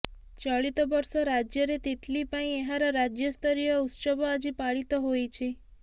ଚଳିତବର୍ଷ ରାଜ୍ୟରେ ତିତ୍ଲି ପାଇଁ ଏହାର ରାଜ୍ୟସ୍ତରୀୟ ଉତ୍ସବ ଆଜି ପାଳିତ ହୋଇଛି